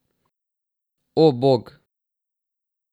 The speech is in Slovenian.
O, bog!